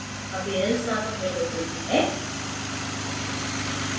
appearance named window खुलती है